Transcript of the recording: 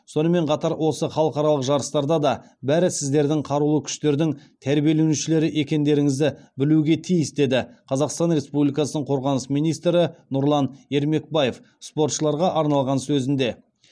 сонымен қатар осы халықаралық жарыстарда да бәрі сіздердің қарулы күштердің тәрбиеленушілері екендеріңізді білуге тиіс деді қазақстан республикасының қорғаныс министрі нұрлан ермекбаев спортшыларға арналған сөзінде